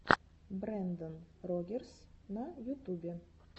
брендан рогерс на ютубе